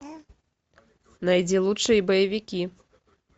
найди лучшие боевики